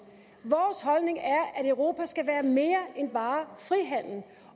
vores holdning er at europa skal være mere end bare frihandel